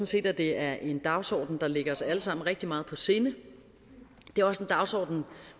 set at det er en dagsorden der ligger os alle sammen rigtig meget på sinde det er også en dagsorden